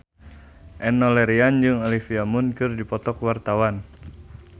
Enno Lerian jeung Olivia Munn keur dipoto ku wartawan